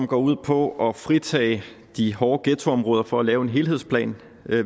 går ud på at fritage de hårde ghettoområder fra at lave en helhedsplan